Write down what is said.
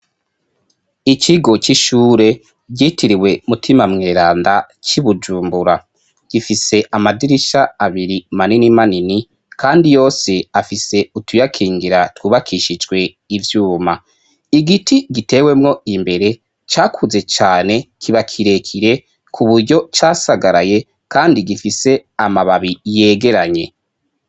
Ikigo c'ishure vyitiriwe Mutima Mweranda c'i Bujumbura gifise amadirisha abiri manini manini kandi yose afise utuyakingira twubakishijwe ivyuma, igiti gitewemwo imbere cakuze cane kiba kirekire ku buryo casagaraye kandi gifise amababi yegeranye.